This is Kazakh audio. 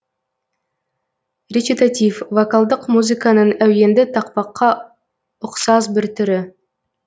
речитатив вокалдық музыканың әуенді тақпаққа ұқсас бір түрі